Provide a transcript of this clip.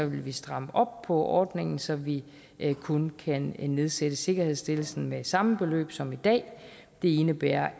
vi stramme op på ordningen så vi kun kan nedsætte sikkerhedsstillelsen med samme beløb som i dag det indebærer